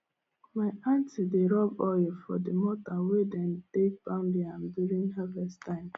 my aunty dey rub oil for the mortar wey dem take pound yam during harvest time